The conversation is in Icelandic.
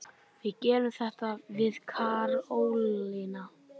Við gerum þetta, við Karólína.